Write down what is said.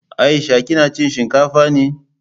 Aisha kina cin shinkafa ne?